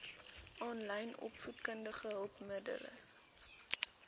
aanlyn opvoedkundige hulpmiddele